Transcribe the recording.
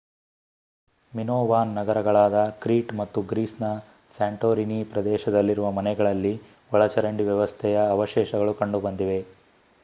Minoan ನಗರಗಳಾದ Crete ಮತ್ತು ಗ್ರೀಸ್‌ನ ಸ್ಯಾಂಟೊರಿನಿ ಪ್ರದೇಶದಲ್ಲಿರುವ ಮನೆಗಳಲ್ಲಿ ಒಳಚರಂಡಿ ವ್ಯವಸ್ಥೆಯ ಅವಶೇಷಗಳು ಕಂಡುಬಂದಿವೆ